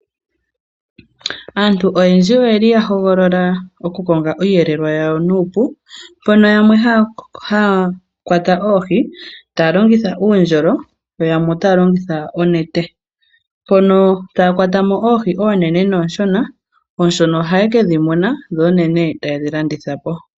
Aantu oyendji oyeli yahogolola okukonga iihelelwa yawo nuupu yo yamwe haya kwata oohi taya longitha uundjolo yo yamwe taya longitha oonete mpono taya kwatamo oohi oonene nooshona, ooshona ohaye kedhi muna dhoonene taye kedhi landithapo.